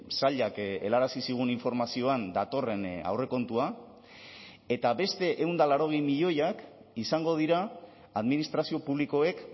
sailak helarazi zigun informazioan datorren aurrekontua eta beste ehun eta laurogei milioiak izango dira administrazio publikoek